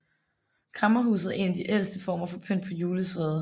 Kræmmerhuset er en af de ældste former for pynt på juletræet